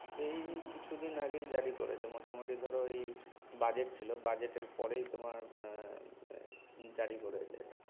এই কিছু দিন আগেই জারি করেছে মোটামুটি ধর এই budget ছিল budget এর পরেই তোমার জারি করেছে।